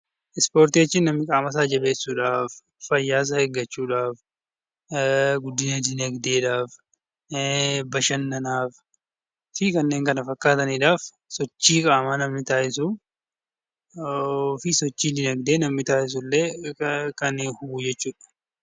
Ispoortii jechuun namni qaamasaa jabeessuuf, fayyaasaa eeggachuuf , guddina dinagdeedhaaf , bashannanaaf fi kanneen kana fakkaataniidhaaf sochii qaamaa namni taasisuu fi sochii dinagdee namni taasisu illee kan qabu jechuudha